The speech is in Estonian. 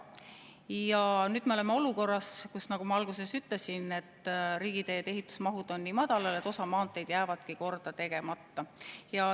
Ja nüüd me oleme olukorras, kus, nagu ma alguses ütlesin, riigiteede ehituse mahud on nii madalal, et osa maanteed jääbki korda tegemata.